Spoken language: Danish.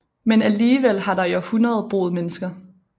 Men alligevel har der i århundrede boet mennesker